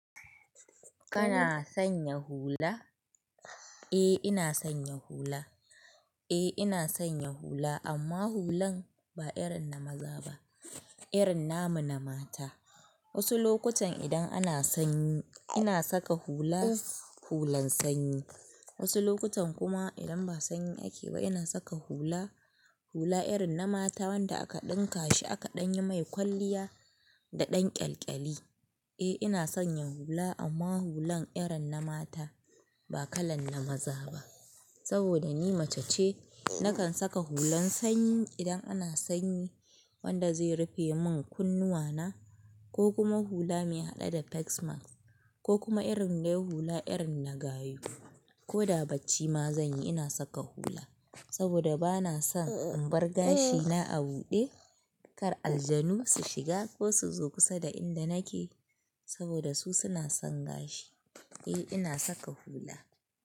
Kana sanya hula? Eh ina sanya hula. Eh ina sanya hula amma hulan ba irin na maza ba, irin na mu na mata. Wasu lokutan idan ana sanyi ina saka hula, hulan sanyi. Wasu lokutan kuma idan ba sanyi ake ba ina saka hula, hula irin na mata wanda aka ɗinka shi aka ɗan yi mai kwalliya da ɗan ƙyalƙyali. Eh ina sanya hula amma hulan irin na mata ba kalan na maza ba. Saboda ni mace ce nakan saka hulan sanyi idan ana sanyi wanda zai rufe mun kunnuwana ko kuma hula mai haɗe da "facemask" ko kuma irin dai hula irin na gayu. Ko da bacci ma zan yi ina saka hula saboda ba na son in bar gashina a buɗe kar aljanu su shiga ko su zo kusa da inda nake saboda su suna son gashi. Eh ina saka hula.